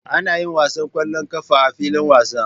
Ana yin wasan ƙwallon ƙafa a filin wasa.